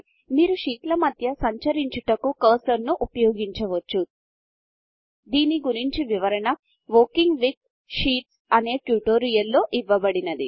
మీరు షీట్ల మధ్య సంచ్రించుటకు కర్సర్ ను ఉపయోగించివచ్చు దీని గురించిన వివరణ వర్కింగ్ విత్ Sheetsవర్కింగ్ విత్ షీట్స్ అనే ట్యుటోరియల్లో ఇవ్వబడింది